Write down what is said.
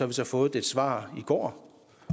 vi så fået et svar i går